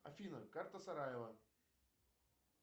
афина карта сараево